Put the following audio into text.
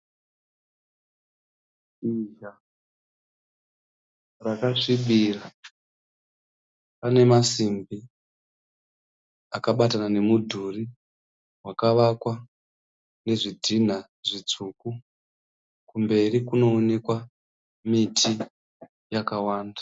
Shizha rakasvibira. Pane masimbi akabatana nemudhuri wakavakwa nezvidhinha zvitsvuku. Kumberi kunoonekwa miti yakawanda.